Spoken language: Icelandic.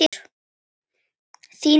Þín Íris Jóna.